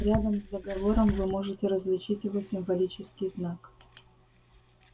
рядом с договором вы можете различить его символический знак